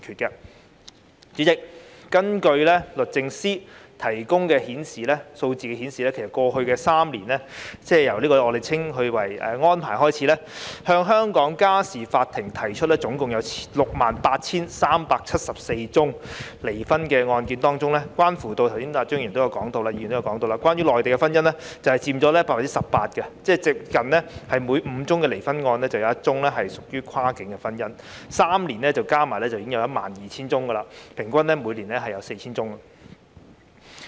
代理主席，根據律政司提供的數字，其實在過去3年，即由簽訂《安排》起計，向香港家事法庭提出的 68,374 宗離婚案件當中——剛才張宇人議員也有提到——關於內地婚姻的案件就佔了 18%， 即差不多每5宗離婚個案就有1宗屬於跨境婚姻，在3年間總共有 12,000 宗，平均每年 4,000 宗。